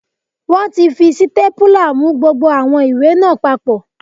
Wọ́n ti fi sítépúlà mú gbogbo àwọn ìwé náà papọ̀